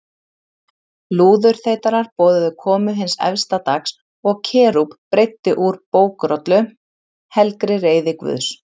Lúðurþeytarar boðuðu komu hins efsta dags og Kerúb breiddi úr bókrollu, helgri reiði Guðs.